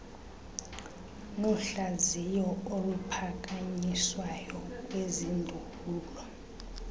nohlaziyo oluphakanyiswayo kwizindululo